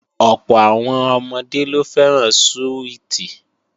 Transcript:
Ọ̀pọ̀ àwọn ọmọdé ló fẹ́ràn súwìtì